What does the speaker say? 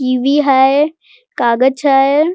TV. है कागज है।